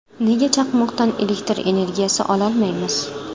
Nega chaqmoqdan elektr energiyasi ololmaymiz?.